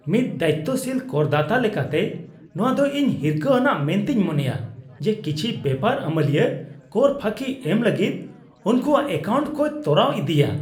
ᱢᱤᱫ ᱫᱟᱭᱤᱛᱛᱚᱥᱤᱞ ᱠᱚᱨᱫᱟᱛᱟ ᱞᱮᱠᱟᱛᱮ, ᱱᱚᱶᱟ ᱫᱚ ᱤᱧ ᱦᱤᱨᱠᱷᱟᱹ ᱟᱱᱟᱜ ᱢᱮᱱᱛᱮᱧ ᱢᱚᱱᱮᱭᱟ ᱡᱮ ᱠᱤᱪᱷᱤ ᱵᱮᱯᱟᱨ ᱟᱹᱢᱟᱹᱞᱤᱭᱟᱹ ᱠᱚᱨ ᱯᱷᱟᱹᱠᱤ ᱮᱢ ᱞᱟᱹᱜᱤᱫ ᱩᱱᱠᱚᱣᱟᱜ ᱮᱹᱠᱟᱣᱩᱱᱴ ᱠᱚᱭ ᱛᱚᱨᱟᱣ ᱤᱚᱫᱤᱭᱟ ᱾